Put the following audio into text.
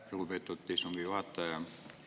Lugupeetud istungi juhataja!